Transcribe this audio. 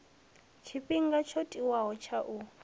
tshifhinga tsho tiwaho tsha u